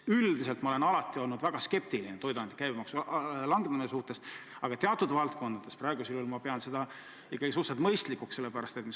Üldiselt ma olen alati olnud väga skeptiline toiduainete käibemaksu langetamise suhtes, aga praegu ma pean seda teatud valdkondades ikkagi suhteliselt mõistlikuks.